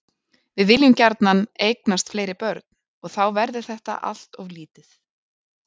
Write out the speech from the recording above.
Við viljum gjarnan eignast fleiri börn og þá verður þetta allt of lítið.